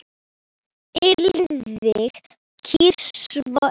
Alþingi kýs svo einn.